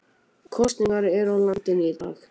Kosningar eru í landinu í dag